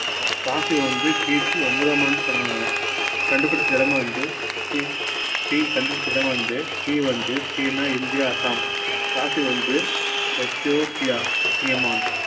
coffee வந்து கிபி ஒன்பதாம் ஆண்டு தொடங்குனாங்க கண்டுபிடிச்ச இடம் வந்து tea கண்டுபிடிச்ச இடம் வந்து tea வந்து சீனா இந்தியா அஸ்ஸாம் coffee வந்து எத்தியோப்பியா ஹிமான்